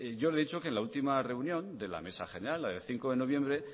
yo le he dicho que en la última reunión de la mesa general la del cinco noviembre